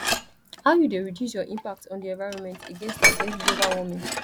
how you dey reduce your impact on di environment against against global warming